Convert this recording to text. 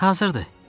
Hazırdı.